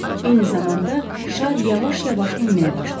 Eyni zamanda şar yavaş-yavaş enməyə başladı.